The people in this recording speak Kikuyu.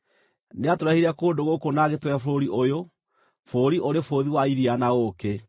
Nĩatũrehire kũndũ gũkũ na agĩtũhe bũrũri ũyũ, bũrũri ũrĩ bũthi wa iria na ũũkĩ;